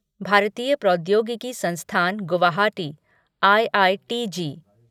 भारतीय प्रौद्योगिकी संस्थान गुवाहाटी आईआईटीजी